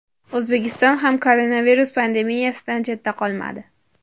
O‘zbekiston ham koronavirus pandemiyasidan chetda qolmadi.